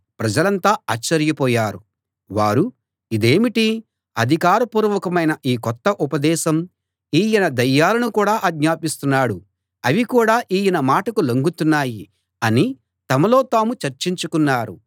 ప్రజలంతా ఆశ్చర్యపోయారు వారు ఇదేమిటి అధికార పూర్వకమైన ఈ కొత్త ఉపదేశం ఈయన దయ్యాలను కూడా ఆజ్ఞాపిస్తున్నాడు అవి కూడా ఈయన మాటకు లొంగుతున్నాయి అని తమలో తాము చర్చించుకున్నారు